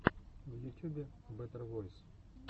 в ютюбе бэтэр войс